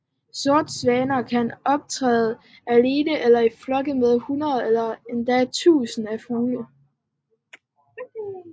Sortsvaner kan optræde alene eller i flokke med hundreder eller endda tusinder af fugle